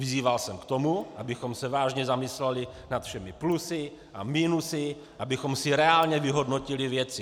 Vyzýval jsem k tomu, abychom se vážně zamysleli nad všemi plusy a minusy, abychom si reálně vyhodnotili věci.